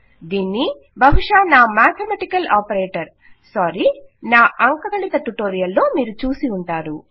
దీన్ని బహుశా నా మేథమేటికల్ ఆపరేటర్ సారీ నా అంకగణిత ట్యుటోరియల్ లో మీరు చూసి ఉంటారు